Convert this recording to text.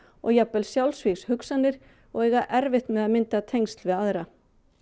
jafnvel sjálfsvígshugsanir og eiga erfitt með að mynda tengsl við aðra